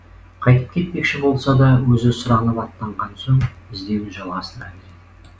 қайтып кетпекші болса да өзі сұранып аттанған соң іздеуін жалғастыра береді